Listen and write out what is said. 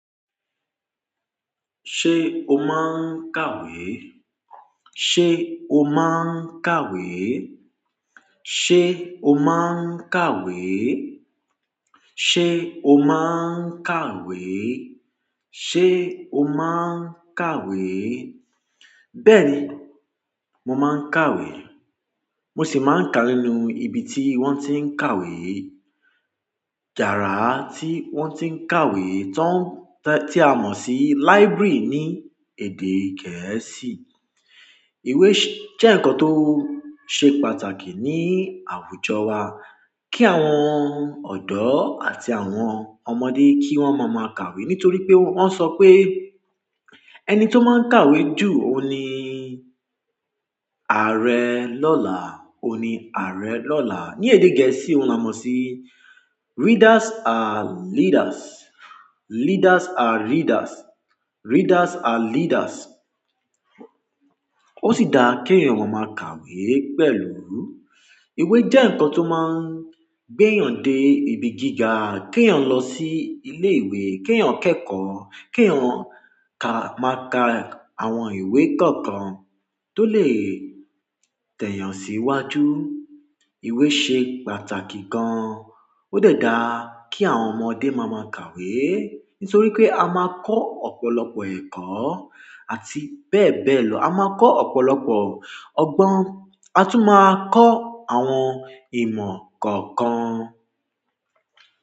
Ṣé o máa ń kàwé? Ṣé o máa ń kàwé? Ṣé o máa ń kàwé? Ṣé o máa ń kàwé? Ṣé o máa ń kàwé? Bẹ́ẹ̀ni, mo máa ń kàwé. Mo sì máa ń ka nínú ibi tí wọ́n ti ń kàwé. Yàrá tí wọ́n ti ń kàwé tó ń tẹ́, tí a mọ̀ sí library ní èdè gẹ̀ẹ́sì. Ìwé ṣé jẹ́ ǹkan tó ṣe pàtàkì ní àwùjọ wa. Kí àwọn ọ̀dọ́ àti àwọn ọmọdé kí wọ́n máa máa kàwé. Nítorí pé wọ́n sọ pé ẹni tó máa ń kàwé jù, òun ni ààrẹ lọ́la, òun ni ààrẹ lọ́la. Ní èdè gẹ̀ẹ́sì, ó náà mọ̀ sí readers are leaders, leaders are readers, readers are leaders. O si daa ki èèyàn máa máa kàwé pẹ̀lú ìwé je nǹkan to máa n gbe èèyàn de ibi gíga, ki èèyàn lo si ile ìwé, ki èèyàn keeko, ki èèyàn ka, máa ka ìwé kánkan to le te èèyàn síwájú. Ìwé ṣe pàtàkì gan. Ó dẹ̀ da ki àwọn ọmọdé máa máa kàwé, nítorí pé a máa kọ́ ọ̀pọ̀lọpọ̀ ẹ̀kọ́ àti bẹ́ẹ̀ bẹ́ẹ̀ lọ. A máa kọ́ ọ̀pọ̀lọpọ̀ ọgbọ́n. A tún máa kọ́ àwọn ìmọ̀ kọ̀ọ̀kan.